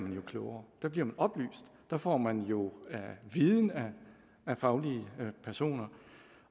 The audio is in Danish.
klogere der bliver man oplyst der får man jo viden af faglige personer